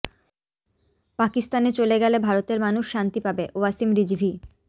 পাকিস্তানে চলে গেলে ভারতের মানুষ শান্তি পাবেঃ ওয়াসিম রিজভি